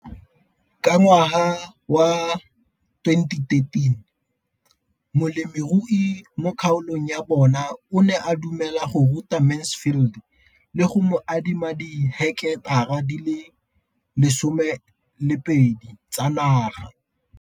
Ka ngwaga wa 2013, molemirui mo kgaolong ya bona o ne a dumela go ruta Mansfield le go mo adima di heketara di le 12 tsa naga.